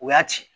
U y'a ci